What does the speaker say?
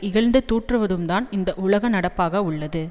இகழ்ந்து தூற்றுவதும்தான் இந்த உலக நடப்பாக உள்ளது